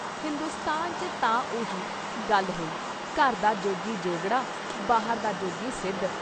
ਹਿੰਦੁਸਤਾਨ ‘ਚ ਤਾਂ ਉਹੀ ਗੱਲ ਹੋਈ- ਘਰ ਦਾ ਜੋਗੀ ਜੋਗੜਾ, ਬਾਹਰ ਦਾ ਜੋਗੀ ਸਿੱਧ!